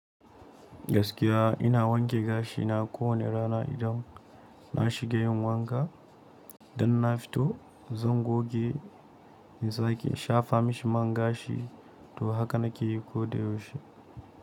Gaskiya ina wanke gashina kowane rana idan na shiga yin wanka. Dan na fito zan goge, in sake shafa mai man gashi to haka na ke yi koyaushe.